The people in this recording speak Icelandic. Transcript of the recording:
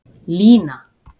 Lína